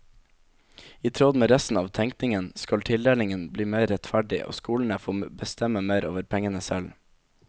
I tråd med resten av tenkningen skal tildelingen bli mer rettferdig og skolene få bestemme mer over pengene selv.